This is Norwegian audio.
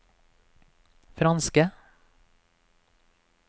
franske